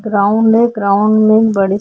ground है ground में एक बड़े से --